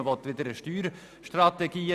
Man will wieder eine neue Steuerstrategie.